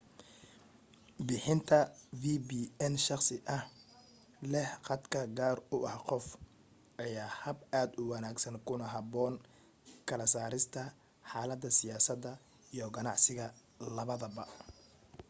bixinta vpn shakhsi ah leh khadka gaarka u ah qofka ayaa ah hab aad u wanaagsan kuna haboon kala saarista xaladaha siyaasada iyo ganacsiga labadaba